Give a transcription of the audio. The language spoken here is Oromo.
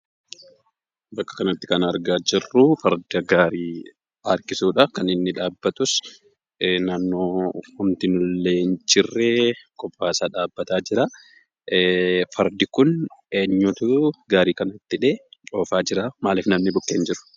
Bakka kanatti kan argaa jirruu farda gaarii harkisuudha. Kan inni dhaabbatus, naannoo homtinuullee hin jirree kophaasaa dhaabbataa jira. Fardi kun eenyuutuu gaarii kanatti hidhee oofaa jiraa? Maaliif namni bukkee hin jiru?